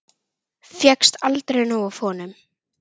Fékkst aldrei nóg af honum.